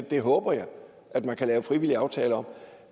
det håber jeg man kan lave frivillige aftaler om